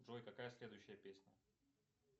джой какая следующая песня